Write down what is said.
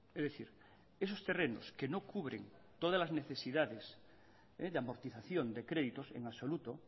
es decir esos terrenos que no cubren todas las necesidades de amortización de créditos en absoluto